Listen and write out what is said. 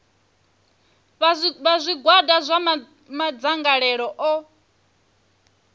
vha zwigwada zwa madzangalelo o